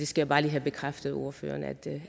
skal bare lige have bekræftet af ordføreren at det